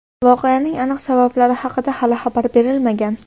Voqeaning aniq sabablari haqida hali xabar berilmagan.